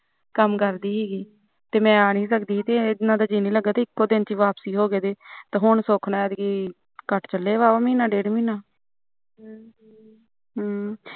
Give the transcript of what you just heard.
ਕੰਮ ਕਰਦੀ ਸੀਗੀ ਤੇ ਮੈ ਨੀ ਸੀ ਸਕਦੀ ਤੇ ਇਹਨਾ ਦਾ ਜੀਅ ਨੀ ਲੱਗਾ ਇੱਕੋਂ ਦਿਨ ਚ ਵਾਪਸੀ ਹੋ ਗਏ ਤੇ ਸੁਖ ਨਾਲ ਕੱਟ ਚਲੇ ਐ ਮਹੀਨਾ ਡੇਢ ਮਹੀਨਾ ਹਮ